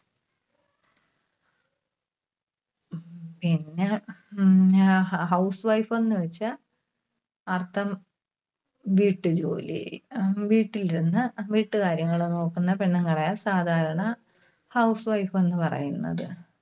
പിന്നെ ഉം അഹ് hou~housewife ന്ന് വെച്ചാ അർത്ഥം വീട്ടുജോലി. അഹ് വീട്ടിൽ ഇരുന്ന് വീട്ടുകാര്യങ്ങള് നോക്കുന്ന പെണ്ണുങ്ങളെയാണ് സാധാരണ housewife എന്ന് പറയുന്നത്.